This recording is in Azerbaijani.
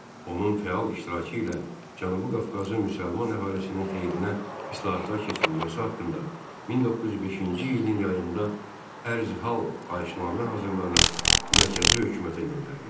Onun fəal iştirakı ilə Cənubi Qafqazın müsəlman əhalisinin xeyrinə islahatlar keçirilməsi haqqında 1905-ci ilin yayında Ərzhal xahişnamə hazırlanıb mərkəzi hökumətə göndərildi.